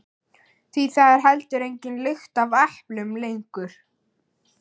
Því það er heldur engin lykt af eplum lengur.